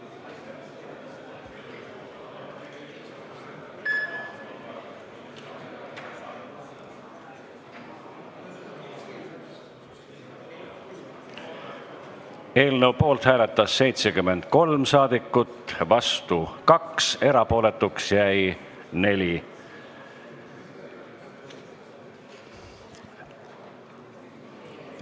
Hääletustulemused Eelnõu poolt hääletas 73 saadikut, vastu 2, erapooletuks jäi 4.